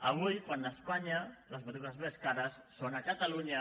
avui quan a espanya les matrícules més cares són a catalunya